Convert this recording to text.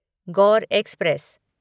Gaur express